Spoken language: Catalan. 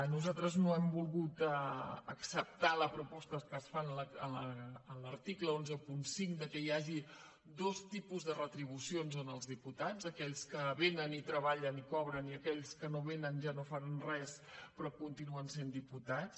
nosaltres no hem volgut acceptar les propostes que es fan en l’article cent i quinze que hi hagi dos tipus de retribucions als diputats a aquells que vénen i treballen i cobren i a aquells que no vénen ja no fan res però continuen sent diputats